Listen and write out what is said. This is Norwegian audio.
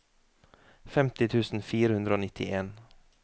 femti tusen fire hundre og nittien